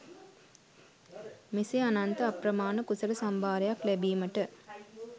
මෙසේ අනන්ත අප්‍රමාණ කුසල සම්භාරයක් ලැබීමට